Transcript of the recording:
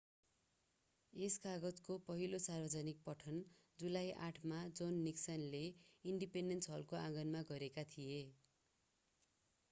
यस कागजातको पहिलो सार्वजनिक पठन जुलाई 8 मा जोन निक्सनले इन्डिपेन्डेन्स हलको आँगनमा गरेका थिए